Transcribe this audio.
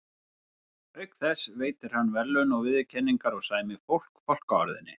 Auk þess veitir hann verðlaun og viðurkenningar og sæmir fólk fálkaorðunni.